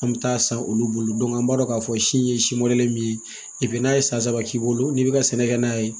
An bɛ taa san olu bolo an b'a dɔn k'a fɔ si ye si mɔdɛli min ye n'a ye san saba k'i bolo n'i bɛ ka sɛnɛ kɛ n'a ye